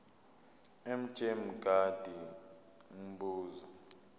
mj mngadi umbuzo